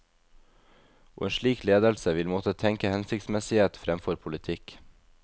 Og en slik ledelse vil måtte tenke hensiktsmessighet fremfor politikk.